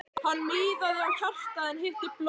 Hann miðaði á hjartað en hitti blöðruna.